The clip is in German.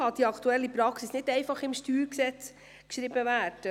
Deshalb kann die aktuelle Praxis nicht einfach im StG festgehalten werden.